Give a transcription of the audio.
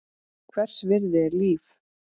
Hvers virði er líf?